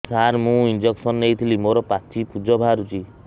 ସାର ମୁଁ ଇଂଜେକସନ ନେଇଥିଲି ମୋରୋ ପାଚି ପୂଜ ବାହାରୁଚି